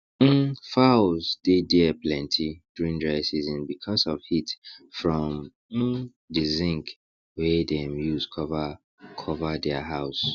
um fowls dey dia plenty during dry season because of heat from um the zinc wey dem use cover cover dia house